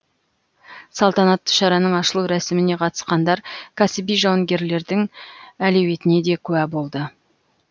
салтанатты шараның ашылу рәсіміне қатысқандар кәсіби жауынгерлердің әлеуетіне де куә болды